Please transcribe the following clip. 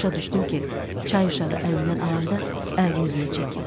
Başa düşdüm ki, çay uşağı əlindən alanda əlini üzünə çəkib.